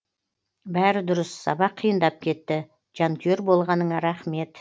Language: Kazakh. бәрі дұрыс сабақ қиындап кетті жанкүйер болғаныңа рахмет